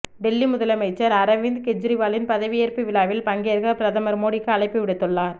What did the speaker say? டெல்லி முதலமைச்சர் அரவிந்த் கெஜ்ரிவாலின் பதவியேற்பு விழாவில் பங்கேற்க பிரதமர் மோடிக்கு அழைப்பு விடுத்துள்ளார்